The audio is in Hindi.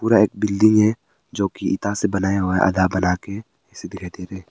यह एक बिल्डिंग है जो कि इटा से बनाया हुआ है आधा बना के--